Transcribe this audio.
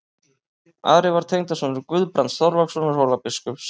Ari var tengdasonur Guðbrands Þorlákssonar Hólabiskups.